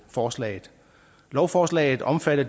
forslaget lovforslaget omfatter